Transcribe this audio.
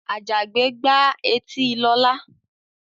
Àjàgbé gbá etí Lọlá.